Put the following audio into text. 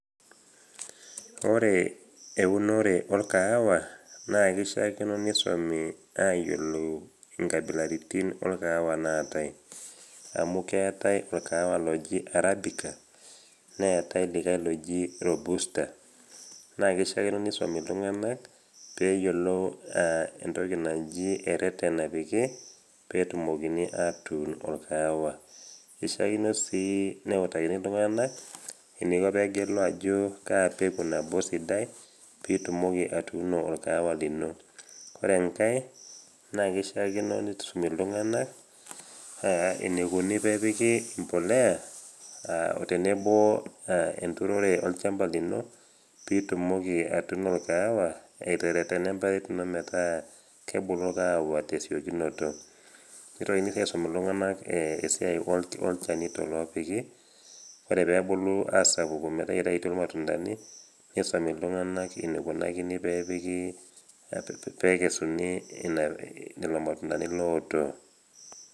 Ore eunore olkaawa naa keishaakino neisumi aayiolou inkabilaritin olkaahawa naatai amu ketai olkaawa oji Arabica neatai likai oji Robusta, naa keishaakino neisumi iltung'ana pee eyiolou ereten napiki pee etumokini atuun olkaawa, eishaakino sii neutakini iltung'ana eneiko pee egelu ajo kaa peku nabo sidai pee itumoki atuuno olkaawa lino. Kore enkai naa keishaakino neisumi iltung'ana taata eneikuni pee epiki embolea o tenebo olchamba lino pee itumoki atuuno olkaawa iteretena emparet ino metaa kebulu kaawa tesiokinoto. Neitokini sii aisum iltung'ana ilchanito oopiki peepuku asidanu metaa eitayutuo ilamtundani, neisumi iltung'ana ineikunakini pee epiki pee ekesuni lelo matundani ooto.